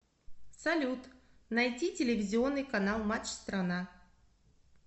салют найти телевизионный канал матч страна